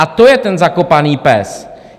A to je ten zakopaný pes.